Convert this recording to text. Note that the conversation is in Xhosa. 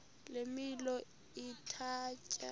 le milo ithatya